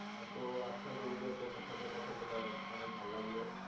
হ্যাঁ তো আচ্ছা আপনার সাথে কথা বলে অনেক ভালো লাগলো।